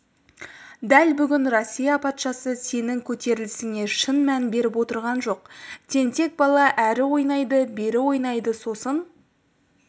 дәл бүгін россия патшасы сенің көтерілісіңе шын мән беріп отырған жоқ тентек бала әрі ойнайды бері ойнайды сосын